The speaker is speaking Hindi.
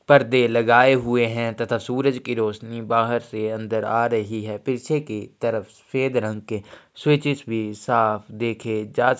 परदे लगाए हुए है तथा सूरज की रौशनी बाहर से अंदर आ रही है पीछे की तरफ सफेद रंग के सुईचेस भी साफ देखे जा सकते है।